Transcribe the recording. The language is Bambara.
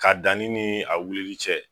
K'a danni ni a wulili cɛ